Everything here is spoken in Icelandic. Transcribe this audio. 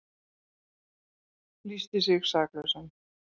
Lýsti sig saklausan